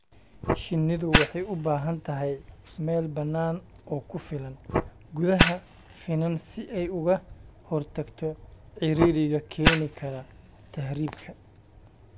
Shinnidu waxay u baahan tahay meel bannaan oo ku filan gudaha finan si ay uga hortagto ciriiriga keeni kara tahriibka.